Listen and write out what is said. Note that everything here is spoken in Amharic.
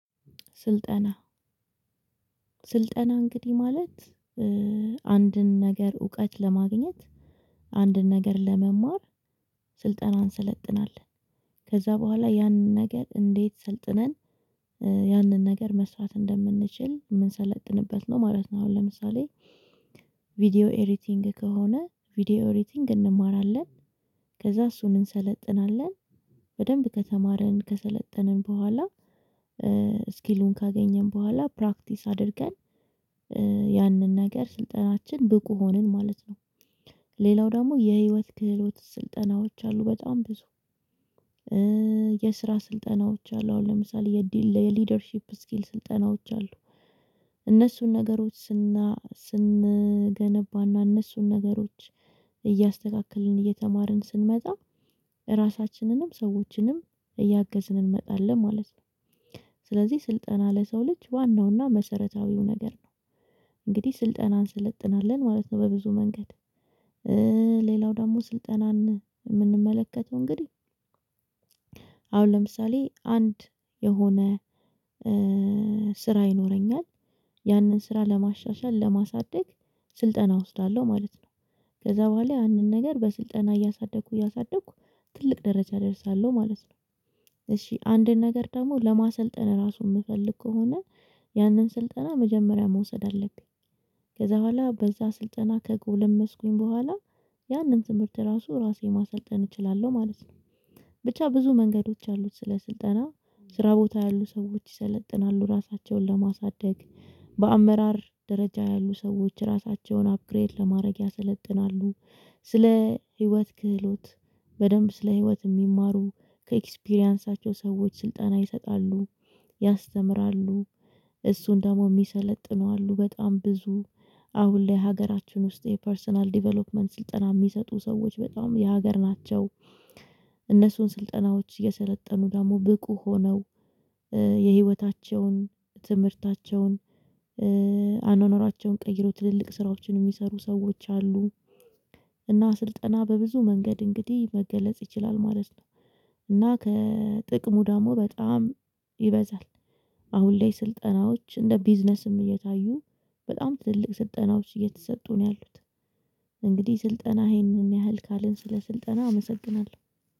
ስልጠና ስልጠና እንግዲህ ማለት አንድን ነገር እውቀት ለማግኘት አንድን ነገር ለመማር ስልጠናን እንሰለጥናለን ከዛ በኋላ ያንን ነገር እንዴት ሰልጥነን ያንን ነገር መስራት እንደምንችል የምንሰለጥንበት ነው ማለት ነው አሁን ለምሳሌ ቪዲዮ ኤሪቲንግ ከሆነ ቪዲዮ ኤሪቲንግ እንማራለን ከዛ እሱን እንሰለጥናለን በደንብ ከተማርን ከሰለጠንን በኋላ ስኪሉን ካገኘን በኋላ ፕራክቲስ አድርገን ያንን ነገር ስልጠናችን ብቁ ሆንን ማለት ነው ሌላው ደግሞ የህይወት ክህሎት ስልጠናዎች አሉ በጣም ብዙ የስራ ስልጠናዎች አሉ አሁን ለምሳሌ የዲል የሊደርሺፕ ስኪል ስልጠናዎች አሉ እነሱን ነገሮች ስና ስንገነባና እነሱን ነገሮች እያስተካከልን እየተማርን ስንመጣ ራሳችንንም ሰዎችንም እያገዝን እንመጣለን ማለት ነው ስለዚህ ስልጠና ለሰው ልጅ ዋናውና መሰረታዊው ነገር ነው እንግዲህ ስልጠናን ስለጥናለን ማለት ነው በብዙ መንገድ ሌላው ደግሞ ስልጠናን የምንመለከተው እንግዲህ አሁን ለምሳሌ አንድ የሆነ ስራ ይኖረኛል ያንን ስራ ለማሻሻል ለማሳደግ ስልጠና እወስዳለሁ ማለት ነው ከዛ በኋላ ያንን ነገር በስልጠና እያሳደግኩ እያሳደግኩ ትልቅ ደረጃ እደርሳለሁ ማለት ነው እሺ አንድን ነገር ደግሞ ለማሰልጠን ራሱን የምፈልግ ከሆነ ያንን ስልጠና መጀመሪያ መውሰድ አለብኝ ከዛ በኋላ በዛ ስልጠና ከጎለመስኩኝ በኋላ ያንን ትምህርት ራሱ ራሴ ማሰልጠን እችላለሁ ማለት ነው፤ ብቻ ብዙ መንገዶች አሉት ስለ ስልጠና ስራ ቦታ ያሉ ሰዎች ይሰለጥናሉ ራሳቸውን ለማሳደግ፤ በአመራር ደረጃ ያሉ ሰዎች ራሳቸውን አፕግሬት ለማድረግ ያሰለጥናሉ፤ ስለ ህይወት ክህሎት በደንብ ስለ ህይወት የሚማሩ ከኤክስፒሪያንሳቸው ሰዎች ስልጠና ይሰጣሉ ያስተምራሉ፤ እሱን ደግሞ የሚሰለጥኑ አሉ በጣም ብዙ አሁን ላይ ሀገራችን ውስጥ የፐርሰናል ዲቨሎፕመንት ስልጠና የሚሰጡ ሰዎች በጣም የሀገር ናቸው፤ እነሱን ስልጠናዎች የሰለጠኑ ደግሞ ብቁ ሆነው የህይወታቸውን ትምህርታቸውን አኗኗራቸውን ቀይሮ ትልልቅ ስራዎችን የሚሰሩ ሰዎች አሉ እና ስልጠና በብዙ መንገድ እንግዲህ መገለጽ ይችላል ማለት ነው እና ከጥቅሙ ደግሞ በጣም ይበዛል አሁን ላይ ስልጠናዎች እንደ ቢዝነስም እየታዩ በጣም ትልልቅ ስልጠናዎች እየተሰጡ ነው ያሉት እንግዲህ ስልጠና ይህንን ያህል ካልን ስለ ስልጠና አመሰግናለሁ።